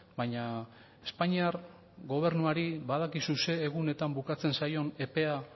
baina espainiar gobernuari badakizu zein egunetan bukatzen zaion epea